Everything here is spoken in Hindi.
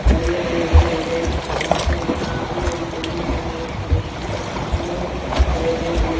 हरे- हरे हरे-हरे घासें है। यहां हरी हरी गमलो में बहोत सारे फुले हैं। पेड़ो पौधे भी --